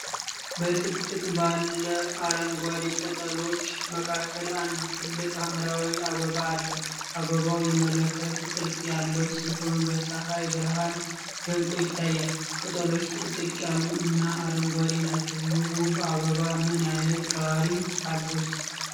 በጥቅጥቅ ባለ አረንጓዴ ቅጠሎች መካከል አንድ ትልቅ ሐምራዊ አበባ አለ። አበባው የመለከት ቅርጽ ያለው ሲሆን በፀሐይ ብርሃን ደምቆ ይታያል። ቅጠሎቹ ጥቅጥቅ ያሉ እና አረንጓዴ ናቸው። ይህ ውብ አበባ ምን አይነት ባህሪያት አሉት?